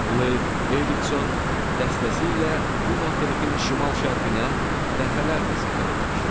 Leif Erikson dəstəsi ilə bu materikin şimal-şərqinə dəfələrlə səfər etmişdi.